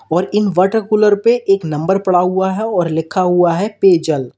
और इन water cooler पे एक नंबर पड़ा हुआ है और लिखा हुआ है पेयजल।